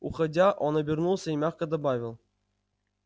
уходя он обернулся и мягко добавил